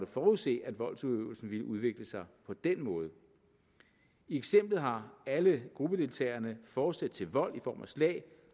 forudse at voldsudøvelsen ville udvikle sig på den måde i eksemplet har alle gruppedeltagerne fortsæt til vold i form af slag og